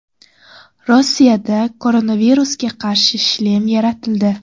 Rossiyada koronavirusga qarshi shlem yaratildi.